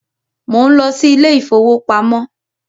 Mo ń lọ sí ilé ìfowópamọ́